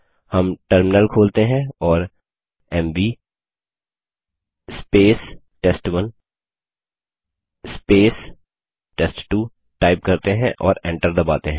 हम टर्मिनल खोलते हैं और एमवी टेस्ट1 टेस्ट2 टाइप करते हैं और एंटर दबाते हैं